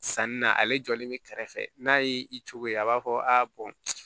Sanni na ale jɔlen be kɛrɛfɛ n'a y'i coye a b'a fɔ a bɔn